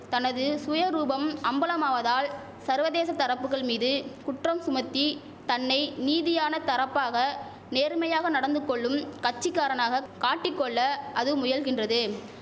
தனது சுயரூபம் அம்பலமாவதால் சர்வதேச தரப்புகள் மீது குற்றம் சுமத்தி தன்னை நீதியான தரப்பாக நேர்மையாக நடந்துகொள்ளும் கட்சிகாரனாக காட்டிகொள்ள அது முயல்கின்றது